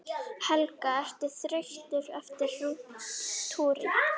Helga: Ertu þreyttur eftir túrinn?